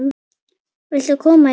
Viltu koma hérna?